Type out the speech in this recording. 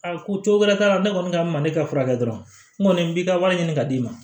Aa ko cogo wɛrɛ t'a la ne kɔni ka ma ne ka fura kɛ dɔrɔn n kɔni n b'i ka wari ɲini ka d'i ma